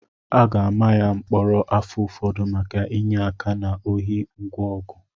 A ga-ama ya mkpọrọ afọ ụfọdụ maka inye aka na ohi ngwa ọgụ